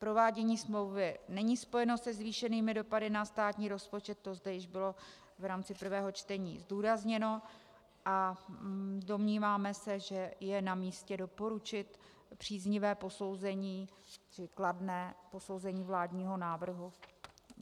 Provádění smlouvy není spojeno se zvýšenými dopady na státní rozpočet, to zde již bylo v rámci prvého čtení zdůrazněno, a domníváme se, že je namístě doporučit příznivé posouzení, čili kladné posouzení vládního návrhu.